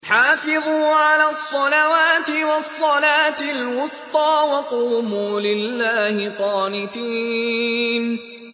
حَافِظُوا عَلَى الصَّلَوَاتِ وَالصَّلَاةِ الْوُسْطَىٰ وَقُومُوا لِلَّهِ قَانِتِينَ